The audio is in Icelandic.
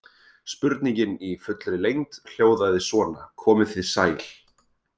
Spurningin í fullri lengd hljóðaði svona: Komið þið sæl.